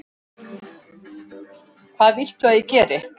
Hvað viltu að ég geri?